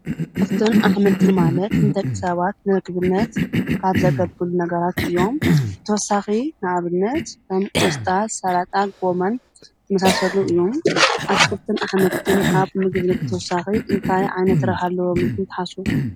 ኣትክልትን ኣሕምልቲ ማለት ንደቂ ሰባት ንምግብነት ካብ ዘገልግሉ ነገራት እዮም። ብተወሳኺ ንኣብነት ከም ቆስጣ ፣ስላጣን ፣ጎመን ዝመሳሰሉ እዮም። ኣትክትልትን ኣሕምልትን ካብ ምግብነት ብተወሳኺ እንታይ ዓይነት ረብሓ ኣለዎም ኢልኩም ትሓስቡ ።